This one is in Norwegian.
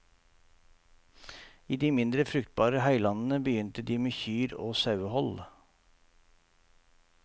I de mindre fruktbare høylandene, begynte de med kyr og sauehold.